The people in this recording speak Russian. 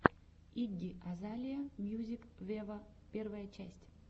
игги азалия мьюзик вево первая часть